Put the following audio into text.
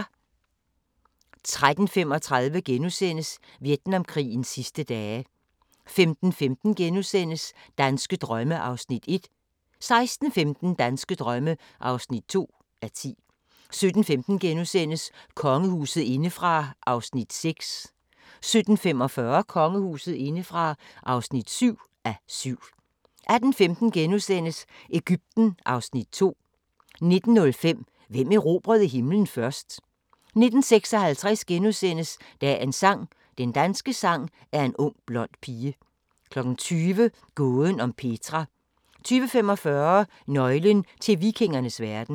13:35: Vietnamkrigens sidste dage * 15:15: Danske drømme (1:10)* 16:15: Danske drømme (2:10) 17:15: Kongehuset indefra (6:7)* 17:45: Kongehuset indefra (7:7) 18:15: Egypten (Afs. 2)* 19:05: Hvem erobrede himlen først? 19:56: Dagens sang: Den danske sang er en ung blond pige * 20:00: Gåden om Petra 20:45: Nøglen til vikingernes verden